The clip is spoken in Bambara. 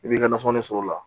I b'i ka nasɔngɔ ni sɔrɔ o la